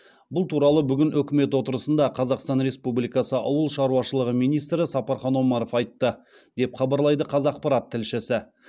бұл туралы бүгін үкімет отырысында қазақстан республикасы ауыл шаруашылығы министрі сапархан омаров айтты деп хабарлайды қазақпарат тілшісі